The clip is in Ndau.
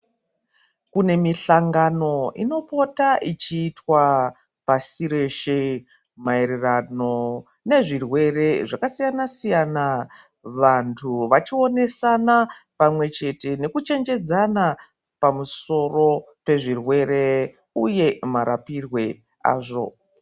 Kune mihlangano unopota ichitwa pasi reshe payererano nezvirwere zvakasiyana siyana vantu vachionesana pamwe chete nekuchenjedzana pamusoro pezvirwere uye marapirwe azvo.